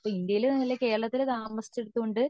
ഇപ്പൊ ഇന്ത്യൻ കേരളത്തിൽ താമസിച്ചത് കൊണ്ട്